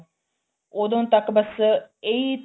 ਉਦੋਂ ਤੱਕ ਬੱਸ ਇਹੀ